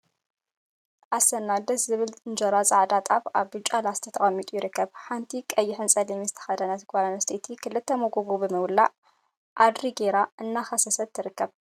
ኣስና ደስ ዝብል እንጀራ ጻዕዳ ጣፍ ኣብ ብጫ ላስቲክ ተቀሚጡ ይርከብ። ሓንቲ ቀይሕንጸሊምን ዝተከደነት ጋል ኣንስተይቲ ክልተ ሞጎጎ ብምውላዕ ኣድሪ ገይራ እናሰንከተት ትርከብ።